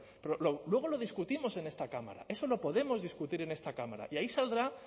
pero luego lo discutimos en esta cámara eso lo podemos discutir en esta cámara y ahí saldrá